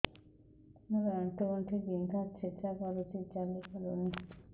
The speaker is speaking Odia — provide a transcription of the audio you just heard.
ମୋର ଆଣ୍ଠୁ ଗଣ୍ଠି ବିନ୍ଧା ଛେଚା କରୁଛି ଚାଲି ପାରୁନି